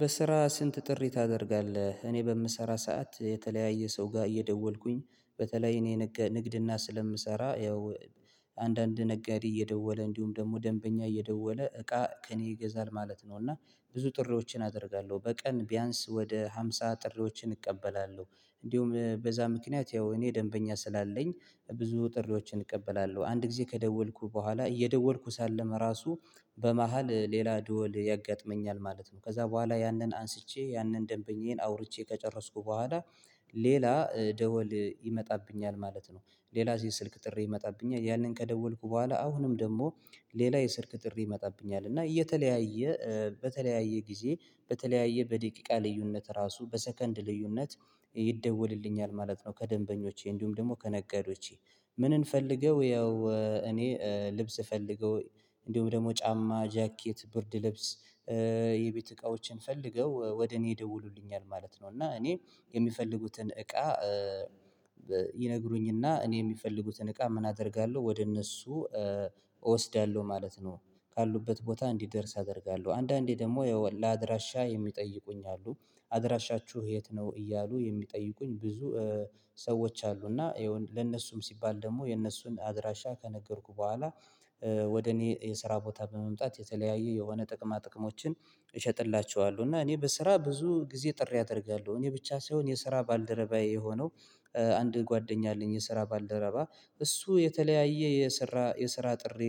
በስራ ስንት ጥሪ ታደርጋለህ? እኔ በምሰራ ሰዓት የተለያየ ሰው ጋር እየደወልኩኝ በተለይ እኔ ንግድና ስለምሰራ ያው አንዳንድ ነጋዴ እየደወለ እንዲሁም ደግሞ ደንበኛ እየደወለ እቃ ከእኔ ይገዛል ማለት ነው። እና ብዙ ጥሪዎችን አደርጋለሁ በቀን ቢያንስ ወደ ሃምሳ ጥሪዎችን እቀበላለሁ። እንዲሁም በዛ ምክንያት ያው እኔ ደንበኛ ስላለኝ ብዙ ጥሪዎችን እቀበላለሁ አንድ ጊዜ ከደወልኩ በኋላ እየደወልኩ ሳለም ራሱ በመሃል ሌላ ደወል ያጋጥመኛል ማለት ነው። ከዛ በኋላ ያንን አንስቼ ያንን ደንበኛዬን አውርቼ ከጨረስኩ በኋላ ሌላ ደወል ይመጣብኛል ማለት ነው። ሌላ የስልክ ጥሪ ይመጣብኛል ያንን ከደወልኩ በኋላ አሁንም ደሞ ሌላ የስልክ ጥሪ ይመጣብኛል እና እየተለያየ በተለያየ ጊዜ በተለያየ በደቂቃ ልዩነት ራሱ በሰከንድ ልዩነት ይደወልልኛል ማለት ነው። ከደንበኞቼ እንዲሁም ደግሞ ከነጋዴዎቼ ምንን ፈልገው ያው እኔ ልብስ ፈልገው እንዲሁም ደግሞ ጫማ ጃኬት ብርድ ልብስ የቤት እቃዎችን ፈልገው ወደ እኔ ይደውሉልኛል ማለት ነው። እና እኔ የሚፈልጉትን እቃ ይነግሩኝና እኔ የሚፈልጉትን እቃ ምን አደርጋለሁ ወደ እነሱ እወስዳለሁ ማለት ነው። ካሉበት ቦታ እንዲደርስ አደርጋለሁ አንዳንዴ ደግሞ ያው ለአድራሻ የሚጠይቁኝ አሉ አድራሻችሁ የት ነው? እያሉ የሚጠይቁኝ ብዙ ሰዎች አሉ እና ይኸውም ለነሱም ሲባል ደግሞ የነሱን አድራሻ ከነገርኩ በኋላ ወደ እኔ የስራ ቦታ በመምጣት የተለያየ የሆነ ጥቅማ ጥቅሞችን እሸጥላቸዋለው። እና እኔ በስራ ብዙ ጊዜ ጥሪ አደርጋለሁ እኔ ብቻ ሳይሆን የስራ ባልደረባዬ የሆነው አንድ ጓደኛ አለኝ የስራ ባልደረባ እሱ የተለያየ የስራ የስራ ጥሪ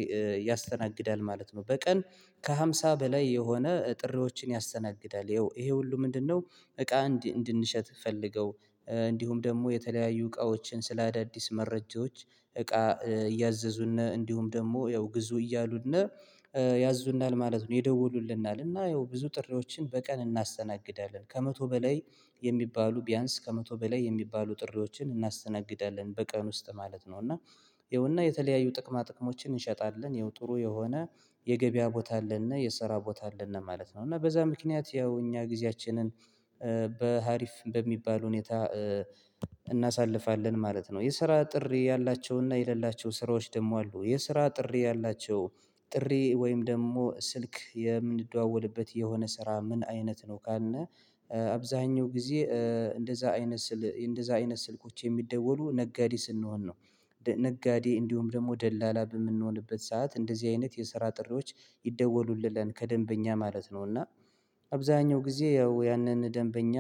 ያስተናግዳል ማለት ነው። በቀን ከሃምሳ በላይ የሆነ ጥሪዎችን ያስተናግዳል ይሄ ሁሉ ምንድነው? እቃ እንድንሸጥ ፈልገው እንዲሁም ደግሞ የተለያዩ እቃዎችን ስለ አዳዲስ መረጃዎች እቃ እያዘዙን እንዲሁም ደሞ ያው ግዙ እያሉን ያዙናል ማለት ነው። ይደውሉልናል እና ያው ብዙ ጥሪዎችን በቀን እናስተናግዳለን ከመቶ በላይ የሚባሉ ቢያንስ ከመቶ በላይ የሚባሉ ጥሪዎችን እናስተናግዳለን በቀን ውስጥ ማለት ነው። እና ይኸውና የተለያዩ ጥቅማ ጥቅሞችን እንሸጣለን ይኸው ጥሩ የሆነ የገበያ ቦታ አለንና የሰራ ቦታ አለንና ማለት ነው እና በዛ ምክንያት ያው እኛ ጊዜያችንን በሀሪፍ እንደሚባል ሁኔታ እናሳልፋለን ማለት ነው። የስራ ጥሪ ያላቸውና የሌላቸው ስራዎች ደሞ አሉ የስራ ጥሪ ያላቸው ጥሪ ወይም ደሞ ስልክ የምንደዋወልበት የሆነ ስራ ምን አይነት ነው ካልን አብዛኛው ጊዜ እንደዛ አይነት እንደዛ አይነት ስልኮች የሚደወሉ ነጋዴ ስንሆን ነው። ነጋዴ እንዲሁም ደግሞ ደላላ በምንሆንበት ሰዓት እንደዚህ አይነት የስራ ጥሪዎች ይደወሉልናል ከደንበኛ ማለት ነው። እና አብዛኛው ጊዜ ያው ያንን ደንበኛ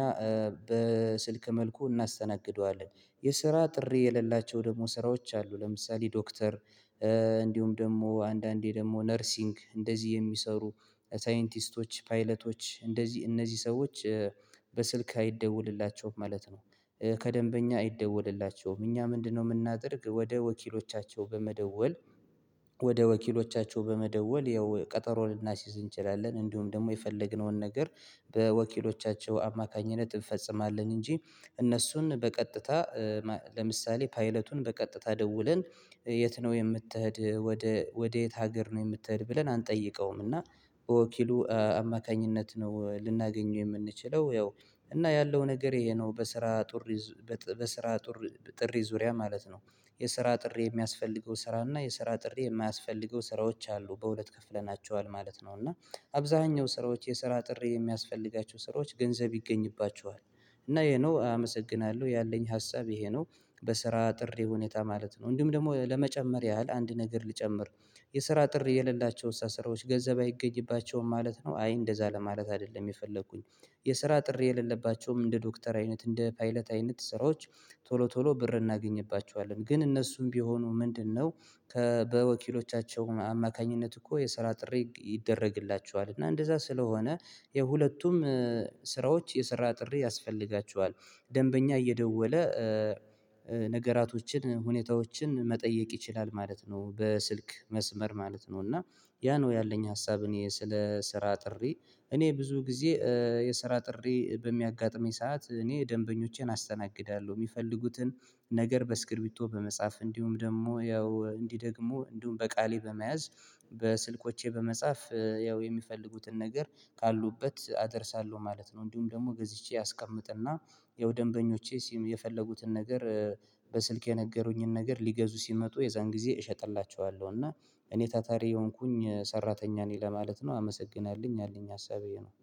በስልክ መልኩ እናስተናግደዋለን የስራ ጥሪ የሌላቸው ደግሞ ስራዎች አሉ ለምሳሌ ዶክተር እንዲሁም ደግሞ አንዳንዴ ደግሞ ነርሲንግ እንደዚህ የሚሰሩ ሳይንቲስቶች ፓይለቶች እንደዚህ እነዚህ ሰዎች በስልክ አይደወልላቸውም ማለት ነው። ከደንበኛ አይደወልላቸውም እኛ ምንድነው የምናደርግ ወደ ወኪሎቻቸው በመደወል ወደ ወኪሎቻቸው በመደወል ያው ቀጠሮ ልናስዝ እንችላለን። እንዲሁም ደግሞ የፈለግነውን ነገር በወኪሎቻቸው አማካኝነት እንፈጽማለን። እንጂ እነሱን በቀጥታ ለምሳሌ ፓይለቱን በቀጥታ ደውለን የት ነው የምትሄድ ወደ ወዴት ሀገር ነው የምትሄድ ብለን አንጠይቀውም። እና በወኪሉ አማካኝነት ነው ልናገኘው የምንችለው ያው እና ያለው ነገር ይሄ ነው በስራ ጥሪ በስራ ጥሪ ጥሪ ዙሪያ ማለት ነው። የሰራ ጥሪ የሚያስፈልገው ስራ እና የሰራ ጥሪ የማያስፈልገው ስራዎች አሉ በሁለት ከፍለናቸዋል ማለት ነው። እና አብዛኛው ስራዎች የስራ ጥሪ የሚያስፈልጋቸው ስራዎች ገንዘብ ይገኝባቸዋል እና ይሄ ነው አመሰግናለሁ ያለኝ ሀሳብ ይሄ ነው። በስራ ጥሪ ሁኔታ ማለት ነው እንዲሁም ደግሞ ለመጨመር ያህል አንድ ነገር ልጨምር የስራ ጥሪ የሌላቸውን ኣሳራሮች ገንዘብ አይገኝባቸውም ማለት ነው። አይ እንደዛ ለማለት አይደለም የፈለኩኝ የስራ ጥሪ የሌለባቸውም እንደ ዶክተር አይነት እንደ ፓይለት አይነት ስራዎች ቶሎ ቶሎ ብር እናገኝባቸዋለን ግን እነሱም ቢሆኑ ምንድነው? ከ በወኪሎቻቸው አማካኝነት እኮ የስራ ጥሪ ይደረግላቸዋል እና እንደዛ ስለሆነ የሁለቱም ስራዎች የሰራ ጥሪ ያስፈልጋችዋል። ደንበኛ እየደወለ ነገራቶችን ሁኔታዎችን መጠየቅ ይችላል ማለት ነው። በስልክ መስመር ማለት ነው እና ያ ነው ያለኝ ሀሳብ። እኔ ስለ ስራ ጥሪ እኔ ብዙ ጊዜ የስራ ጥሪ በሚያጋጥመኝ ሰዓት እኔ ደንበኞቼን አስተናግዳለሁ የሚፈልጉትን ነገር በስክርቢቶ በመጽሐፍ እንዲሁም ደሞ ያው እንዲህ ደግሞ እንዲሁም በቃሌ በመያዝ በስልኮቼ በመጻፍ ያው የሚፈልጉትን ነገር ካሉበት አደርሳለሁ ማለት ነው። እንዲሁም ደሞ ገዝቼ ያስቀምጥና ያው ደንበኞቼ የፈለጉትን ነገር በስልክ የነገሩኝን ነገር ሊገዙ ሲመጡ የዛን ጊዜ እሸጥላቸዋለሁ እና እኔ ታታሪ የሆንኩኝ ሰራተኛ ነኝ ለማለት ነው። አመሰግናለሁኝ ያለኝ ሀሳብ ኤሄ ነው።